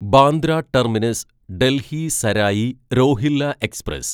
Bandra terminus Delhi Sarai Rohilla express